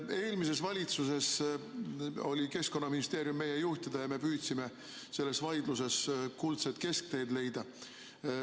Eelmises valitsuses oli Keskkonnaministeerium meie juhtida ja me püüdsime selles vaidluses kuldset keskteed leida.